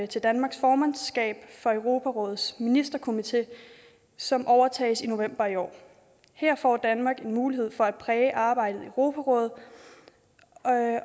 til danmarks formandskab for europarådets ministerkomité som overtages i november i år her får danmark en mulighed for at præge arbejdet i europarådet